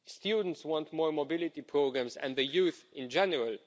Students want more mobility programmes, as does youth in general.